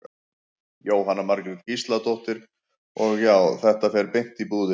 Jóhanna Margrét Gísladóttir: Og, og já, þetta fer beint í búðir?